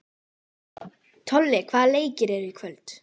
Tolli, hvaða leikir eru í kvöld?